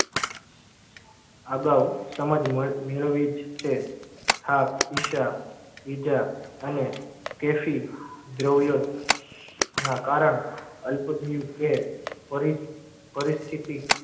અગાઉ સમજ મ મેળવી જ છે. થાક ઈચ્છા વિધા અને તેશી દ્રવ્યો ના કારણે અલ્પથી કે પરી પરિસ્થિતિ